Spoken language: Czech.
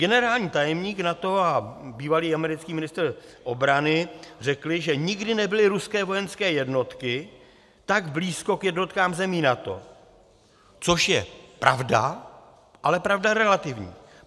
Generální tajemník NATO a bývalý americký ministr obrany řekli, že nikdy nebyly ruské vojenské jednotky tak blízko k jednotkám zemí NATO, což je pravda, ale pravda relativní.